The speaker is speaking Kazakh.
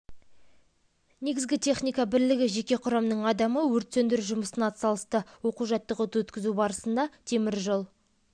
шартты түрде өрт оқиғасының орын алғандығы туралы ақпарат келіп түсті өрттің шығу себебі мақтаның өздігінен